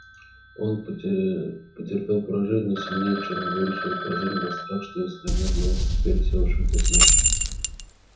он потерпел поражение но сильнее чем горечь этого поражения был страх что если она сделалась теперь всеобщим посмешищем